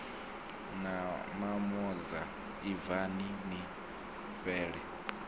na mamoza ibvani ni fhele